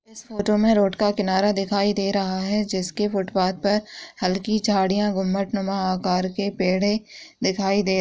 इस फोटो में रोड का किनारा दिखाई दे रहा है जिसके फुटपाथ पर हल्की झाड़ियाँ घुम्मट नुमा आकर के पेड़े दिखाई दे --